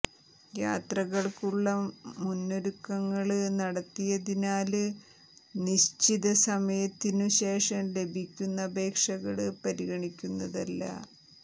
യാത്രയ്ക്കുള്ള മുന്നൊരുക്കങ്ങള് നടത്തേണ്ടതിനാല് നിശ്ചിത സമയത്തിനു ശേഷം ലഭിക്കുന്ന അപേക്ഷകള് പരിഗണിക്കുന്നതല്ല